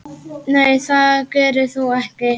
Nei það gerir þú ekki.